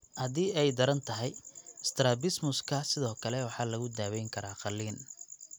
Haddii ay daran tahay, strabismuska sidoo kale waxaa lagu daweyn karaa qaliin.